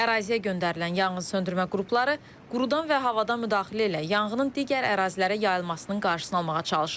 Əraziyə göndərilən yanğın söndürmə qrupları qurudan və havadan müdaxilə ilə yanğının digər ərazilərə yayılmasının qarşısını almağa çalışırlar.